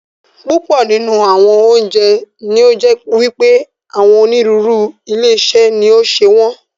Púpọ̀ nínú àwọn oúnjẹ ní ó jẹ́ wípé àwọn onírúurú ilé-iṣé ni ó ń ṣe wọn.